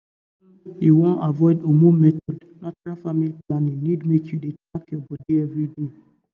if you wan you wan avoid hormone method natural family planning need make you dey track your body every day.